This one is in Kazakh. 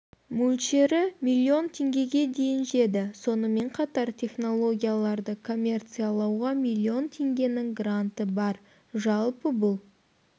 мөлшері миллион теңгеге дейін жетеді сонымен қатар технологияларды коммерциялауға миллион теңгенің гранты бар жалпы бұл